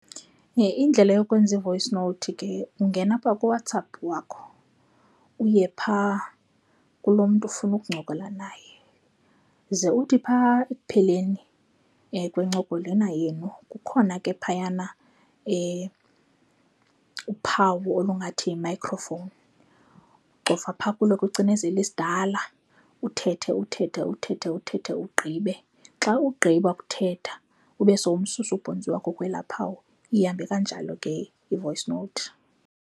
Indlela yokwenza i-voice note ke ungena apha kuWhatsApp wakho, uye phaa kuloo mntu ufuna ukuncokola naye. Ze uthi pha ekupheleni kwencoko lena yenu kukhona ke phayana uphawu olungathi yi-microphone. Ucofa phaa kulo ucinezele isidala uthethe, uthethe, uthethe, uthethe ugqibe. Xa ugqiba kuthetha ube sowususa ubhontsi wakho kwelaa phawu, ihambe kanjalo ke i-voice note.